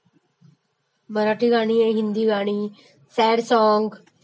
मराठी गाणी आणि हिंदी गाणी सॅड सॉंगस्